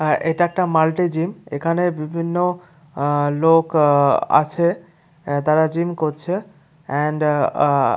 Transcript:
এটা একটা multi gym এখানে বিভিন্ন আ লোক আ আছে তারা জিম করছে এন্ড আ আ--